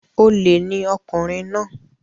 Olè ni ọkùnrin náà